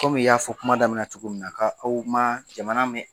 Kɔmi i y'a fɔ kuma daminɛ na cogo min na ka aw man jamana mɛn